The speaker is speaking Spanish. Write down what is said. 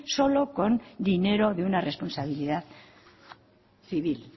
solo con dinero de una responsabilidad civil